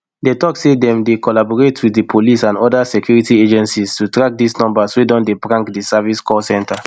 dey tok say dem dey collaborate wit di police and oda security agencies to track dis numbers wey don dey prank di service call center